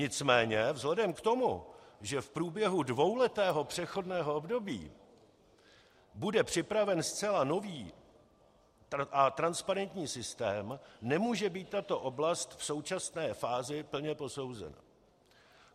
Nicméně vzhledem k tomu, že v průběhu dvouletého přechodného období bude připraven zcela nový a transparentní systém, nemůže být tato oblast v současné fázi plně posouzena.